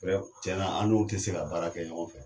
Cɛ nan an n'u te se ka baara kɛ ɲɔgɔn fɛ